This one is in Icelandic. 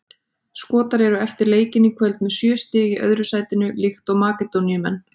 Skotar eru eftir leikinn í kvöld með sjö stig í öðru sætinu líkt og Makedóníumenn.